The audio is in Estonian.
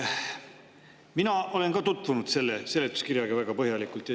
Mina olen selle seletuskirjaga väga põhjalikult tutvunud.